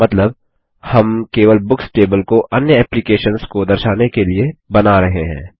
मतलब हम केवल बुक्स टेबल को अन्य एप्लीकेशन्स को दर्शाने के लिए बना रहे हैं